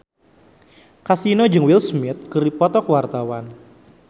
Kasino jeung Will Smith keur dipoto ku wartawan